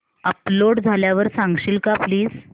upload झाल्यावर सांगशील का प्लीज